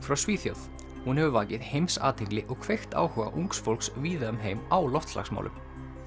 frá Svíþjóð hún hefur vakið heimsathygli og kveikt áhuga ungs fólks víða um heim á loftslagsmálum